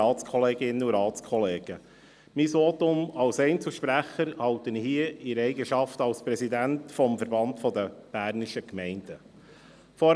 Mein Votum als Einzelsprecher halte ich in meiner Eigenschaft als Präsident des Verbandes Bernischer Gemeinden (VBG).